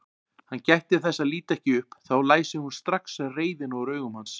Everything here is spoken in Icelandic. Hann gætti þess að líta ekki upp, þá læsi hún strax reiðina úr augum hans.